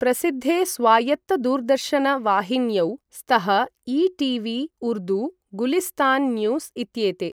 प्रसिद्धे स्वायत्त दूरदर्शन वाहिन्यौ स्तः ई.टि.वि उर्दू, गुलिस्तान् न्यूस् इत्येते।